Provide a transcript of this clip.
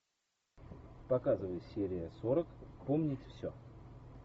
показывай серия сорок помнить все